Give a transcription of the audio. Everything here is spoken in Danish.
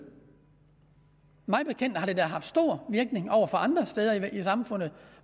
mig bekendt har det da haft stor virkning andre steder i samfundet